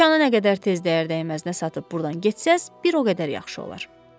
Dükan nə qədər tez dəyər dəyməzinə satıb burdan getsəz, bir o qədər yaxşı olar.